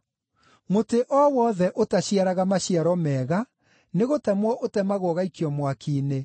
Mũtĩ o wothe ũtaciaraga maciaro mega nĩgũtemwo ũtemagwo ũgaikio mwaki-inĩ.